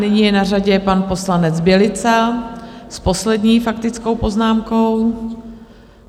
Nyní je na řadě pan poslanec Bělica s poslední faktickou poznámkou.